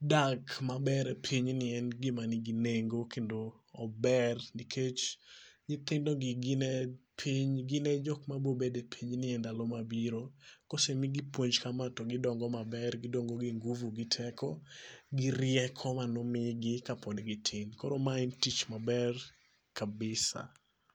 dak maber e pinyni en gima nigi nengo kendo ober nikech nyithindogi gin e piny gin e jok mabiro bedo e pinyni endalo mabiro. Ka osemigi puonj kama to gidongo maber gidongo gi ngufu gi teko gi rieko mane omigi kapod gitindo. Koro mae en tich maber kabisa.